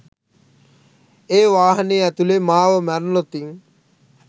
ඒ වාහනේ ඇතුලේ මාව මැරුනොතින්